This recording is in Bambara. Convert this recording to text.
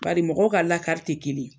Bari mɔgɔw ka lakari te kelen